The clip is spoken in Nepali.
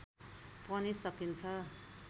पनि सकिन्छ